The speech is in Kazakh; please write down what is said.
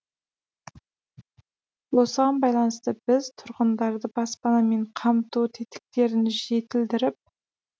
осыған байланысты біз тұрғындарды баспанамен қамту тетіктерін жетілдіріп